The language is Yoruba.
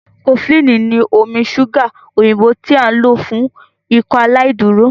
cofflin ni omí ṣuga òyìnbó tí a n lò fún Ikọaláìdúró.